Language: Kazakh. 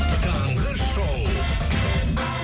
таңғы шоу